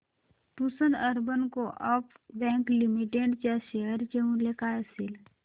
Pusad urban co-op bank limited च्या share चे मूल्य काय असेल